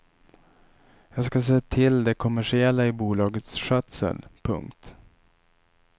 Jag ska se till det kommersiella i bolagets skötsel. punkt